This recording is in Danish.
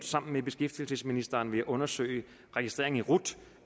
sammen beskæftigelsesministeren undersøge registrering i rut